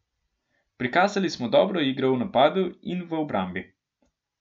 Prikazali smo dobro igro v napadu in v obrambi.